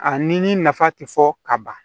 A ni ni nafa ti fɔ ka ban